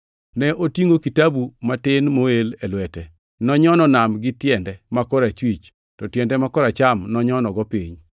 Ne otingʼo kitabu matin moel e lwete. Nonyono nam gi tiende ma korachwich, to tiende ma koracham nonyonogo piny,